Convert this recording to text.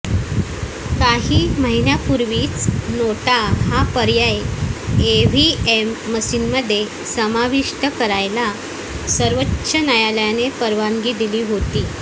काही महिन्यांपूर्वीच नोटा हा पर्य़ाय ईव्हीएम मशीनमध्ये सामाविष्ट करायला सर्वोच्च न्यायालयाने परवानगी दिली होती